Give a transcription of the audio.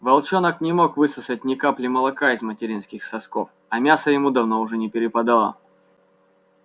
волчонок не мог высосать ни капли молока из материнских сосков а мяса ему уже давно не перепадало